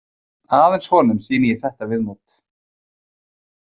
Aðeins honum sýni ég þetta viðmót.